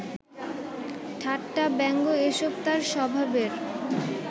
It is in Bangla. ঠাট্টা, ব্যঙ্গ এসব তাঁর স্বভাবের